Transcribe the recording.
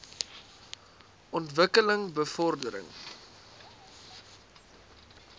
ontwik keling bevordering